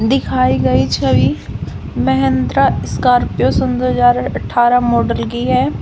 दिखाई गई छवि महिंद्रा स्कार्पियो सन दो हजार अठारह मॉडल की है।